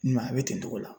Ɲuma a bɛ kɛ togo la